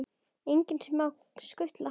Engin smá skutla!